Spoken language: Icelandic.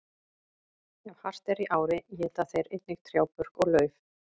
Ef hart er í ári éta þeir einnig trjábörk og lauf.